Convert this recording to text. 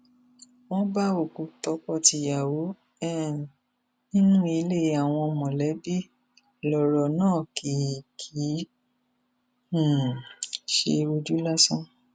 wọn bá òkú tọkọtìyàwó um nínú ilé àwọn mọlẹbí lọrọ náà kì í kì í um ṣe ojú lásán